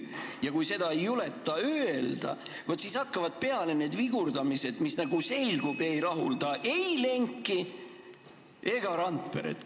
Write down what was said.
Ja kui seda ei juleta öelda, vaat siis hakkavad peale need vigurdamised, mis, nagu selgub, ei rahulda ei Lenki ega Randperet.